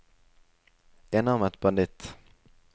enarmet banditt